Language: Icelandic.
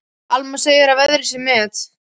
Alma segir að veðrið sé met.